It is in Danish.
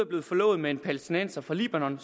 blevet forlovet med en palæstinenser fra libanon